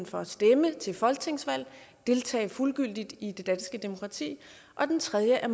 for at stemme til folketingsvalg og deltage fuldgyldigt i det danske demokrati og den tredje er